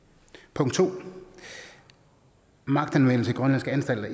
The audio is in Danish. punkt to om magtanvendelse i grønlandske anstalter